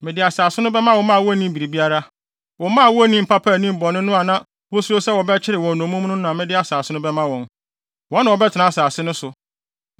Mede asase no bɛma wo mma a wonnim biribiara. Wo mma a wonnim papa nnim bɔne no a na wusuro sɛ wɔbɛkyere wɔn nnommum no na mede asase no bɛma wɔn. Wɔn na wɔbɛtena asase no so.